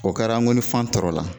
O kɛra an ko ni fan tɔrɔ la,